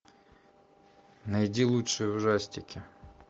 найди лучшие ужастики